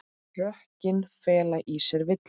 Rökin fela í sér villu.